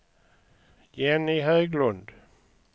Jenny Höglund